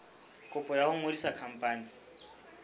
kopo ya ho ngodisa khampani